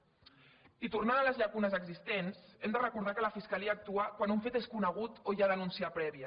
i tornant a les llacunes existents hem de recordar que la fiscalia actua quan un fet és conegut o hi ha denúncia prèvia